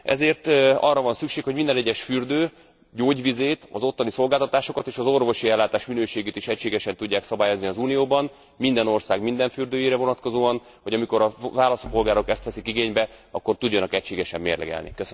Ezért arra van szükség, hogy minden egyes fürdő gyógyvizét, az ottani szolgáltatásokat és az orvosi ellátás minőségét is egységesen tudják szabályozni az Unióban, minden ország minden fürdőjére vonatkozóan, hogy amikor a választópolgárok ezt veszik igénybe, akkor tudjanak egységesen mérlegelni.